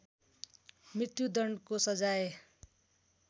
मत्यु दण्डको सजाय